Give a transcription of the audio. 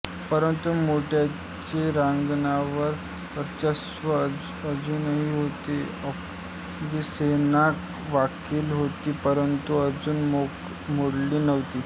परंतु मराठ्यांचे रणांगणावर वर्चस्व अजूनही होते अफगाणी सेना वाकली होती परंतु अजून मोडली नव्हती